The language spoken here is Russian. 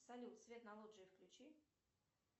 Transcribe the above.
салют свет на лоджии включи